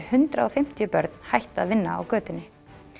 hundrað og fimmtíu börn hætt að vinna á götunni